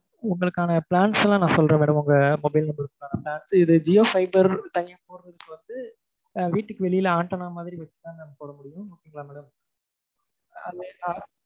உங்களுக்கான plans எல்லாம் நான் சொல்றேன் madam உங்க mobile number க்கான plan இது ஜியோ fiber வந்து ஆஹ் வீட்டுக்கு வெளியே antenna மாதிரி வச்சுதான் madam போடமுடியும் ஓகே வா மேடம்